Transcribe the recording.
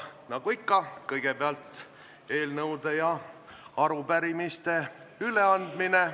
Nagu ikka on kõigepealt eelnõude ja arupärimiste üleandmine.